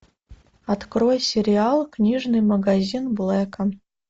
открой сериал книжный магазин блэка